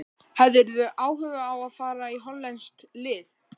Hefðirðu áhuga á að fara í hollenskt lið?